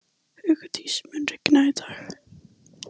Hugdís, mun rigna í dag?